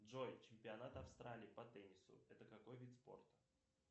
джой чемпионат австралии по теннису это какой вид спорта